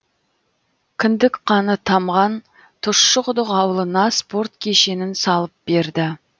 кіндік қаны тамған тұщықұдық ауылына спорт кешенін салып берді